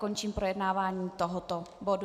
Končím projednávání tohoto bodu.